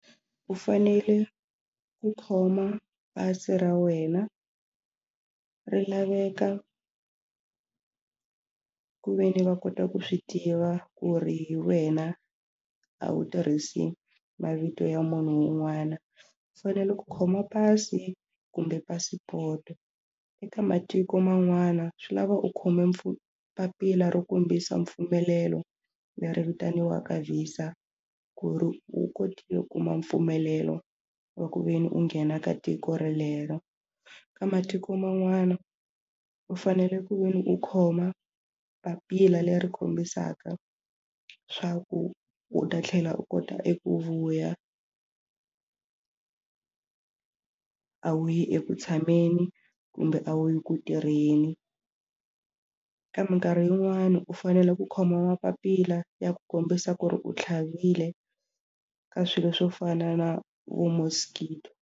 U fanele ku khoma pasi ra wena ri laveka ku ve ni va kota ku swi tiva ku ri hi wena a wu tirhisi mavito ya munhu un'wana u fanele ku khoma pasi kumbe passport-o eka matiko man'wana swi lava u khome papila ro kombisa mpfumelelo leri vitaniwaka Visa ku ri u kota u kuma mpfumelelo wa ku ve ni u nghena ka tiko relero ka matiko man'wana u fanele ku ve ni u khoma papila leri kombisaka swa ku u ta tlhela u kota eku vuya a wu yi eku tshameni kumbe a wu yi ku tirheni ka mikarhi yin'wani u fanele ku khoma mapapila ya ku kombisa ku ri u tlhavile ka swilo swo fana na vo mosquito.